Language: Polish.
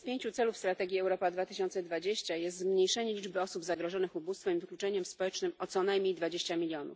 Jednym z pięciu celów strategii Europa 2020 jest zmniejszenie liczby osób zagrożonych ubóstwem i wykluczeniem społecznym o co najmniej 20 mln.